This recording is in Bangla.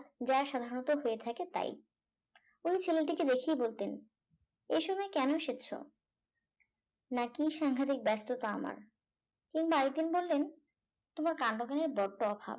যা সাধারণত হয়ে থাকে তাই উনি ছেলেটিকে দেখাই বলতেন এ সময় কেন এসেছো একই স্যাংঘাতিক ব্যস্ততা আমার কিংবা আরেকদিন বললেন তোমার কাণ্ডজ্ঞানের বড্ড অভাব